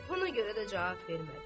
Buna görə də cavab vermədi.